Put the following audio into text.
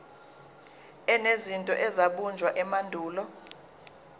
enezinto ezabunjwa emandulo